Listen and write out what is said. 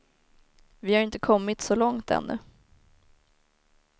Vi har inte kommit så långt ännu.